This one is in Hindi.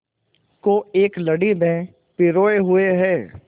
को एक लड़ी में पिरोए हुए हैं